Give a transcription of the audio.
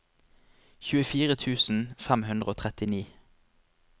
tjuefire tusen fem hundre og trettini